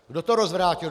Kdo to rozvrátil?